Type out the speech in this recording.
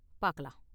பாக்கலாம்.